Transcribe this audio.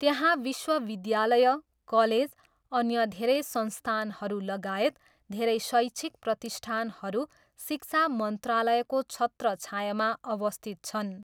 त्यहाँ विश्वविद्यालय, कलेज, अन्य धेरै संस्थानहरू लगायत धेरै शैक्षिक प्रतिष्ठानहरू शिक्षा मन्त्रालयको छत्रछायाँमा अवस्थित छन्।